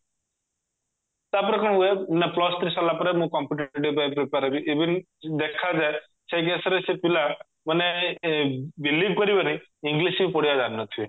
ତାପରେ କଣ ହୁଏ ନା plus three ସରିଲା ପରେ ମୁଁ competitive ପାଇଁ prepare ହେବି even ଦେଖାଯାଏ ସେଇ case ରେ ସେ ପିଲା ମାନେ ଏ believe କରିବନି english ବି ପଢିବା ଜାଣିନଥିବେ